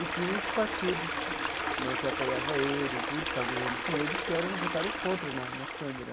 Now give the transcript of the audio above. E tinha os partidos né que apoiava ele e tudo, que estava governando com ele, que eram votaram contra na na Câmara.